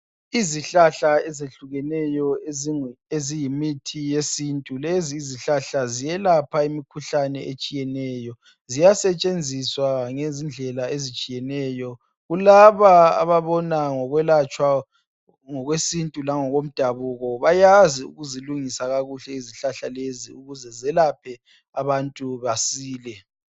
Izihlahla eziyehlukeneyo eziyi mithi yesintu, lezi izihlahla ziyelapha imikhuhlane etshiyeneyo. Ziya setshenziswa ngezindlela ezitshiyeneyo, kulaba ababona ngokwelatshwa ngokwesintu langako mdabuko. Bayazi ukuzilungisa kakuhle izihlahla lezi ukuze zelaphe abantu basile.